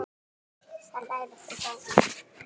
Þar læra þau bænir.